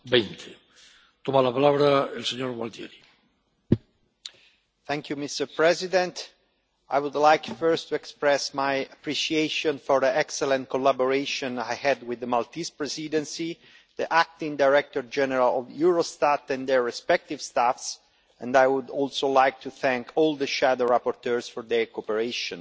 Mr President, I would like first to express my appreciation for the excellent collaboration I had with the Maltese Presidency, the acting Director General of Eurostat and their respective staff and I would also like to thank all the shadow rapporteurs for their cooperation.